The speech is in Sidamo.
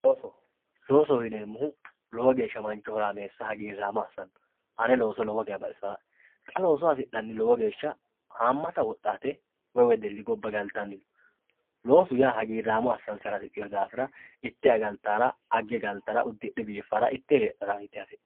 looso loosoho yineemohu lowo geesha mancho horaameesa hagiiraamo assanno ane looso lowo geya baxisaa'e xa looso hasixanni lowo geesha haamata woxxaate woy wedelli gabba galtani no loosu yaa hagiiraamo asansara hasixiyo daafira itte galtara agge galtara uddixxe biifara itte heexara yite hasixxanno